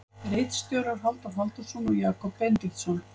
Ritstjórar Halldór Halldórsson og Jakob Benediktsson.